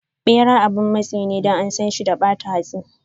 Bera abin matsi ne Don ansan shi da bata hatsi.